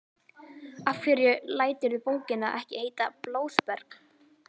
Af hverju læturðu bókina ekki heita Blóðberg?